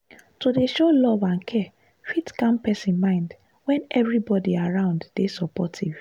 to dey show love and care fit calm person mind when everybody around dey supportive.